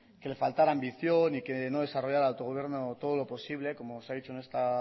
que le faltara ambición y que no desarrollara el autogobierno todo lo posible como se ha dicho